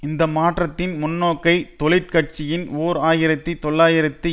இந்த மாற்றத்தின் முன்னோக்கை தொழிற் கட்சியின் ஓர் ஆயிரத்தி தொள்ளாயிரத்தி